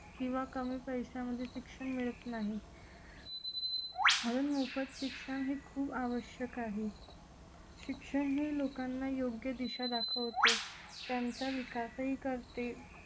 किंवा कमी कशामध्ये शिक्षण मिळत नाही म्हणून मोफत शिक्षण ही खूप आवश्यक आहे शिक्षण हे लोकांना योग्य दिशा दाखवते त्यांचा विकासही करते